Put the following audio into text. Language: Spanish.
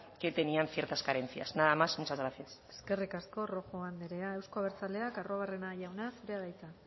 que tenían ciertas carencias nada más y muchas gracias eskerrik asko rojo andrea euzkal abertzaleak arruabarrena jauna zurea da hitza